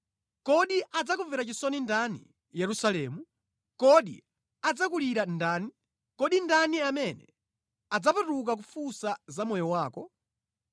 “Kodi adzakumvera chisoni ndani, Yerusalemu? Kodi adzakulira ndani? Kodi ndani amene adzapatuka kufunsa za moyo wako?